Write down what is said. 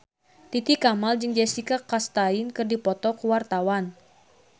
Titi Kamal jeung Jessica Chastain keur dipoto ku wartawan